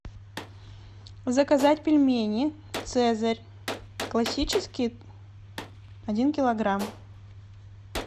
заказать пельмени цезарь классические один килограмм